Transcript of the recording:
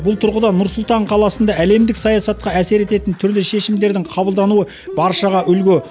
бұл тұрғыда нұр сұлтан қаласында әлемдік саясатқа әсер ететін түрлі шешімдердің қабылдануы баршаға үлгі